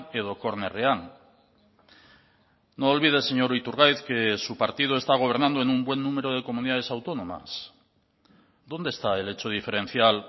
edo kornerrean no olvide señor iturgaiz que su partido está gobernando en un buen número de comunidades autónomas dónde está el hecho diferencial